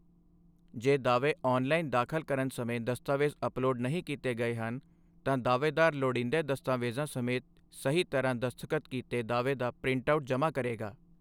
ਜੇ ਦਾਅਵੇ ਆਨਲਾਈਨ ਦਾਖਲ ਕਰਨ ਸਮੇਂ ਦਸਤਾਵੇਜ਼ ਅਪਲੋਡ ਨਹੀਂ ਕੀਤੇ ਗਏ ਹਨ, ਤਾਂ ਦਾਅਵੇਦਾਰ ਲੋੜੀਂਦੇ ਦਸਤਾਵੇਜ਼ਾਂ ਸਮੇਤ ਸਹੀ ਤਰ੍ਹਾਂ ਦਸਤਖਤ ਕੀਤੇ ਦਾਅਵੇ ਦਾ ਪ੍ਰਿੰਟਆਉਟ ਜਮ੍ਹਾ ਕਰੇਗਾ।